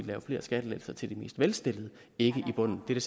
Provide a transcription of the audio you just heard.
lave flere skattelettelser til de mest velstillede ikke i bunden det